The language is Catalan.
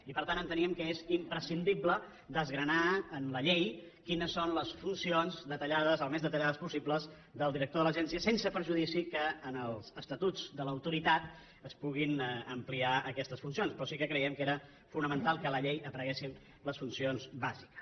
i per tant enteníem que és imprescindible desgranar en la llei quines són les funcions detallades al més detallades possible del director de l’agència sense perjudici que en els estatuts de l’autoritat es puguin ampliar aquestes funcions però sí que creiem que era fonamental que a la llei apareguessin les funcions bàsiques